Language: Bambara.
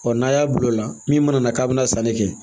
n'a y'a bila o la min mana na k'a bɛna sanni kɛ